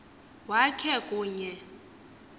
wak he kunye